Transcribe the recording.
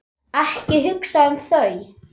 Ekki hugsa um þau!